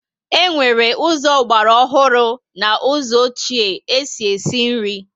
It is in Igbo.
E nwere ụzọ ogbara ọhụrụ na ụzọ ọchie e si esi nri